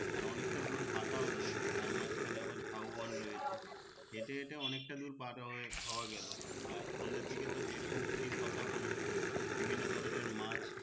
আর অনেক টা দূর হাটাও যায় তার মাঝখানে আবার ঝাও বন রয়েছে হেটে হেটে অনেক টা দূর খাওয়া গেলো আর সন্ধ্যে দিকে তো যে রকম পুরির কথা বললে বিভিন্ন ধরনের মাছ